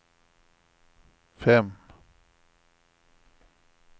fem